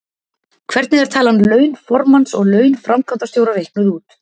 Hvernig er talan laun formanns og laun framkvæmdastjóra reiknuð út?